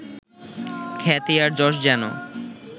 খ্যাতি আর যশ যেন